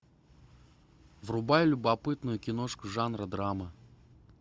врубай любопытную киношку жанра драма